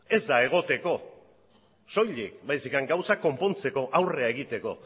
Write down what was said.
ez da egoteko soilik baizik eta gauzak konpontzeko aurrera egiteko